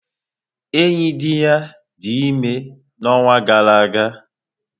Oyidiya dị ime n'ọnwa gara aga.